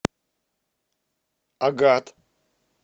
агат